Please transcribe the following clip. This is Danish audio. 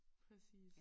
Præcis